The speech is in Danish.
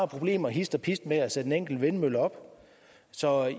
problemer hist og pist med at sætte en enkelt vindmølle op så